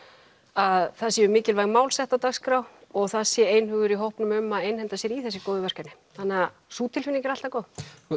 að það séu mikilvæg mál sett á dagskrá og það sé einhugur í hópnum um að vinda sér í þessi góðu verkefni þannig sú tilfinning er alltaf góð